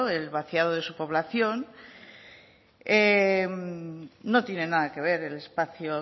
el vaciado de su población no tiene nada que ver el espacio